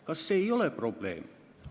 Kas see ei ole probleem?